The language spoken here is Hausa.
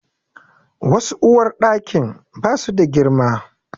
Wasu uwarɗakin ba su da girma.